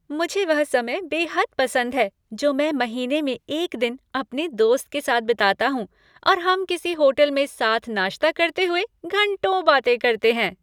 मुझे वह समय बेहद पसंद है जो मैं महीने में एक दिन अपने दोस्त के साथ बिताता हूँ और हम किसी होटल में साथ नाश्ता करते हुए घंटों बातें करते हैं।